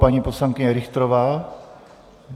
Paní poslankyně Richterová?